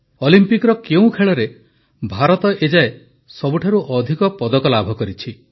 ଅଲିମ୍ପିକର କେଉଁ ଖେଳରେ ଭାରତ ଏ ଯାଏ ସବୁଠାରୁ ଅଧିକ ପଦକ ଲାଭ କରିଛି